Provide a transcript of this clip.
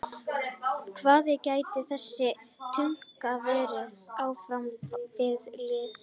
Hver á að gæta þess að tungan verði áfram við lýði?